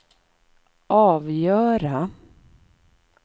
avgöra